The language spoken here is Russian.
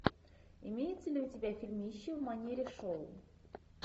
имеется ли у тебя фильмище в манере шоу